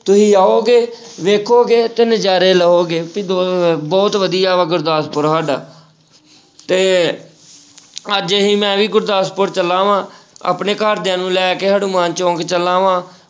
ਤੁਸੀਂ ਆਓਗੇ ਵੇਖੋਗੇ ਤੇ ਨਜ਼ਾਰੇ ਲਓਗੇ ਤੇ ਬਹੁਤ ਵਧੀਆ ਵਾ ਗੁਰਦਾਸਪੁਰ ਸਾਡਾ ਤੇ ਅੱਜ ਅਸੀਂ ਮੈਂ ਵੀ ਗੁਰਦਾਸਪੁਰ ਚੱਲਾ ਵਾਂ, ਆਪਣੇ ਘਰਦਿਆਂ ਨੂੰ ਲੈ ਕੇ ਹਨੂੰਮਨਾ ਚੌਂਕ ਚੱਲਾਂ ਵਾ,